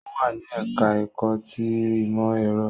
Ó wà ní ẹ̀ká ẹ̀kọ́ ti ìmọ̀ ẹ̀rọ